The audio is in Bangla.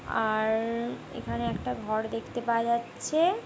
আর এখানে একটা ঘর দেখতে পাওয়া যাচ্ছে।